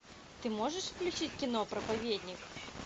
ты можешь включить кино проповедник